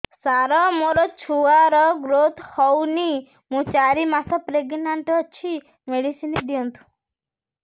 ସାର ମୋର ଛୁଆ ର ଗ୍ରୋଥ ହଉନି ମୁ ଚାରି ମାସ ପ୍ରେଗନାଂଟ ଅଛି ମେଡିସିନ ଦିଅନ୍ତୁ